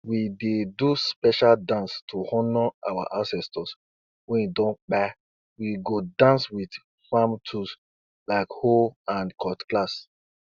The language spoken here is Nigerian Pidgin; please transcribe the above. i no dey always clean wetin i dey use plant with hot water before i pack um am keep where um i em em dey dey.